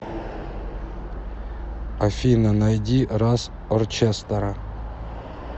афина найди рас орчестра